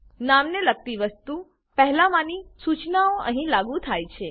નામને લગતી 1 માંની સૂચનાઓ અહીં લાગુ થાય છે